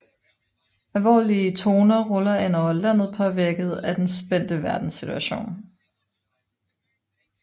Alvorlige toner ruller ind over landet påvirket af den spændte verdenssituation